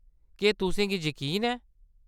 केह्‌‌ तुसें गी यकीन ऐ ?